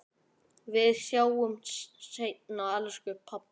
Við sjáumst seinna, elsku pabbi.